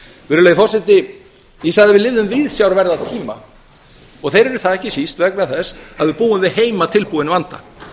virðulegi forseti ég sagði að við lifðum viðsjárverða tíma og þeir eru það ekki síst vegna þess að við búum til heimatilbúinn vanda